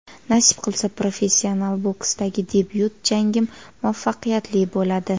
Nasib qilsa, professional boksdagi debyut jangim muvaffaqiyatli bo‘ladi.